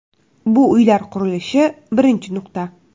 Bu uylar qurilishi birinchi nuqta.